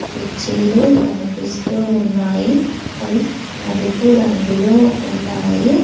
కుర్చీలు కనిపిస్తూ ఉన్నాయి అవి నలుపు రంగులో ఉన్నాయి.